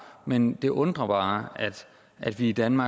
men det undrer mig bare at vi i danmark